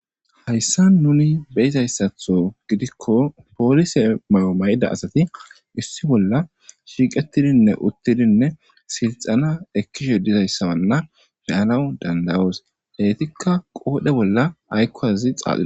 Haysan nu beyizaysatho gidikon polise mayo mayida asat issi bolla shiqetidinne utidinne silixana ekizaysana beyanaw dandayos , Etika qodhe bolla ayko az xaax....